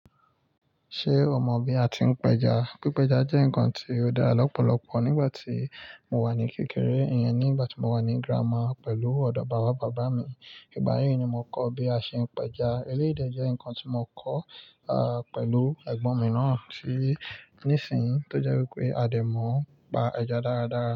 Ṣé o mọ bí a ti ń pẹja? Pípẹja jẹ́ nǹkan tí ó dára lọ́pọ̀lọpọ̀ nígbà tí mo wà ní kékeré, ìyẹn nígbà tí mo wà ní girama pẹ̀lú ọ̀dọ̀ bàbá bàbá mi. Ìgbà yẹn ni mo kọ́ bí a ṣe ń pẹja. Eléyii jẹ́ ǹkan tí mo kọ́, a, pẹ̀lú ẹ̀gbọ́n mi náà tí ní ìsìn tó jẹ́ wí pé a lè mọ̀ pa ẹja dáradára.